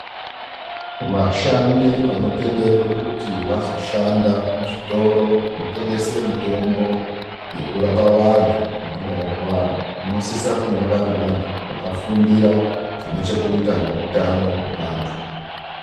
Vashandi vanotenderwa kuti vazoshanda muzvitoro zvinotengesa mutombo yekurapa vantu vanonga varwara, vanosisa kunge vari vantu vakafundira zvine chekuita neutano hwevantu.